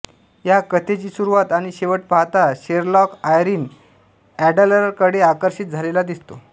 या कथेची सुरुवात आणि शेवट पाहता शेरलाॅक आयरीन एडलरकडे आकर्षित झालेला दिसतो